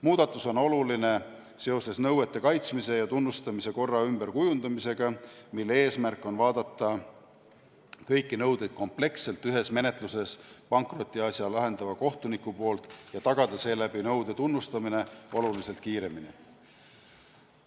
Muudatus on oluline seoses nõuete kaitsmise ja tunnustamise korra ümberkujundamisega, mille eesmärk on vaadata kõiki nõudeid kompleksselt ühes menetluses pankrotiasja lahendava kohtuniku poolt ja tagada seeläbi nõude tunnustamine oluliselt kiiremini.